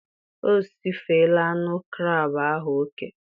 O sifela anụ krab ahụ oke